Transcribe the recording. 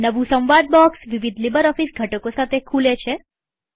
નવું સંવાદ બોક્સ વિવિધ લીબરઓફીસ ઘટકો સાથે ખુલે છે